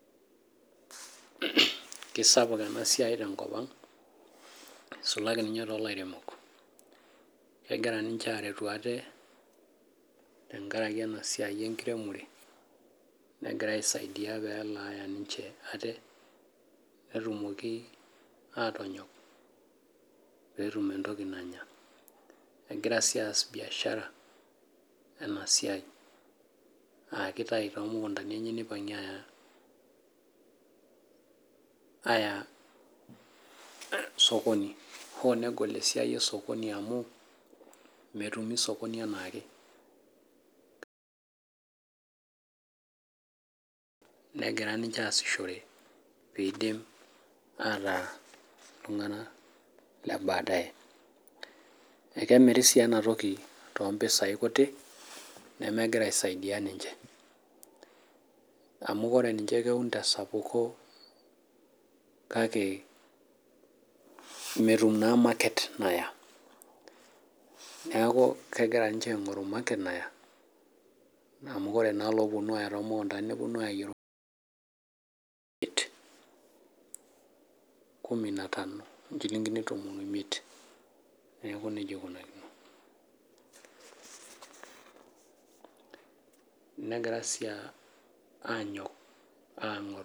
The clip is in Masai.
Kisapuk enasiai tenkop ang', nisulaki ninye tolairemok. Kegira ninche aretu ate, tenkaraki enasiai enkiremore, negira aisaidia pelaya ninche ate, netumoki atonyok, petum entoki nanya. Egira si aas biashara, enasiai. Akitayu tomukuntani enye nipang'ie aya aya osokoni. Hoo negol esiai osokoni amu, metumi sokoni enaake. Negira ninche aasishore pidim ataa iltung'anak le badaye. Ekemiri si enatoki tompisai kutik, nemegira aisaidia ninche. Amu ore ninche keun tesapuko kake, metum naa market naya. Neeku kegira ninche aing'oru market naya, amu ore naa lopunu aya tomukuntani neponu ayayie orbaket kumi na tano. Inchilinkini tomon oimiet. Neeku nejia ikunakino. Negirai si anyok aing'or.